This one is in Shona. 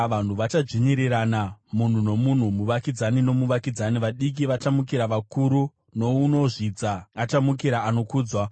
Vanhu vachadzvinyirirana, munhu nomunhu, muvakidzani nomuvakidzani. Vadiki vachamukira vakuru, nounozvidza achamukira anokudzwa.